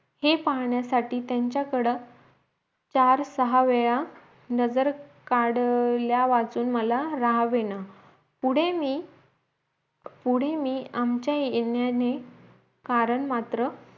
हे पाहण्यासाठी त्यांचाकड चार सहा वेळा नजर काढल्या वाचून माला राहवेना पुढे मी पुढे मी आमच्या येण्याने कारण मात्र